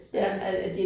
Altså